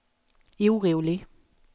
orolig